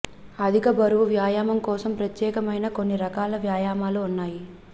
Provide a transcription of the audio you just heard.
అధిక బరువు వ్యాయామం కోసం ప్రత్యేకమైన కొన్ని రకాల వ్యాయామాలు ఉన్నాయి